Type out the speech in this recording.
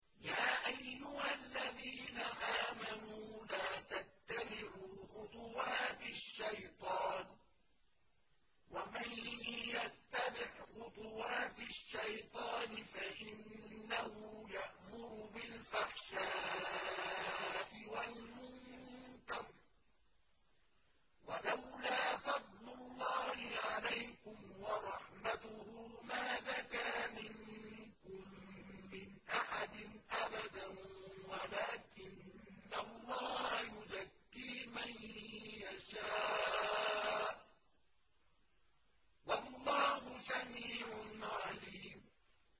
۞ يَا أَيُّهَا الَّذِينَ آمَنُوا لَا تَتَّبِعُوا خُطُوَاتِ الشَّيْطَانِ ۚ وَمَن يَتَّبِعْ خُطُوَاتِ الشَّيْطَانِ فَإِنَّهُ يَأْمُرُ بِالْفَحْشَاءِ وَالْمُنكَرِ ۚ وَلَوْلَا فَضْلُ اللَّهِ عَلَيْكُمْ وَرَحْمَتُهُ مَا زَكَىٰ مِنكُم مِّنْ أَحَدٍ أَبَدًا وَلَٰكِنَّ اللَّهَ يُزَكِّي مَن يَشَاءُ ۗ وَاللَّهُ سَمِيعٌ عَلِيمٌ